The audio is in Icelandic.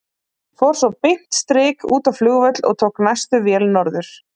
Fór svo beint strik út á flugvöll og tók næstu vél norður.